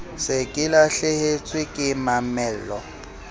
se ke lahlehetswe ke mamello